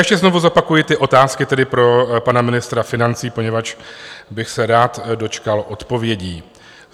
Ještě znovu zopakuji ty otázky tedy pro pana ministra financí, poněvadž bych se rád dočkal odpovědí.